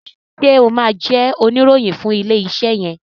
ṣe o má jé Oníròhìn fún ilé iṣé yen?